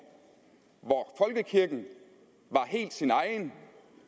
hvor folkekirken var helt sin egen